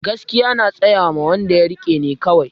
Gaskiya na tsayama wanda ya rike ne kawai